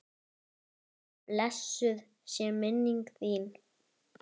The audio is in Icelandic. Blessuð sé minning þín!